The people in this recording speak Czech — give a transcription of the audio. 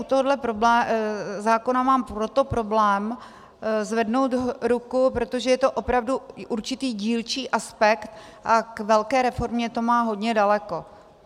U tohohle zákona mám proto problém zvednout ruku, protože je to opravdu určitý dílčí aspekt a k velké reformě to má hodně daleko.